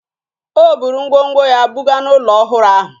O buru ngwongwo ya buga n'ụlọ ọhụrụ ahụ